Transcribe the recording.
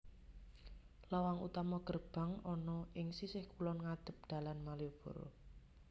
Lawang utama gerbang ana ing sisih kulon ngadhep dalan Malioboro